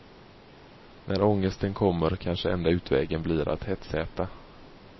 När ångesten kommer kanske enda utvägen blir att hetsäta.